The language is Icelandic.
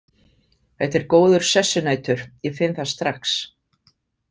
Þetta er góður sessunautur, ég finn það strax.